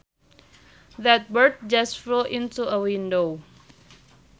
That bird just flew into a window